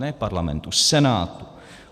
Ne Parlamentu, Senátu.